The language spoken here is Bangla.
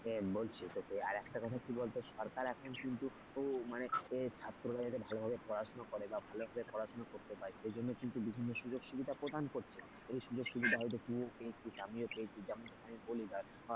বলছি তোকে আর একটা কথা কি বলতো সরকার এখন কিন্তু মানে ছাত্ররা যাতে ভালোভাবে পড়াশোনা করে বা ভালোভাবে পড়াশোনা করতে পায় সেই জন্য কিন্তু বিভিন্ন সুযোগ সুবিধা প্রদান করছে। এই সুযোগ সুবিধা হয়তো তুই ও পেয়েছিস আমিও পেয়েছি।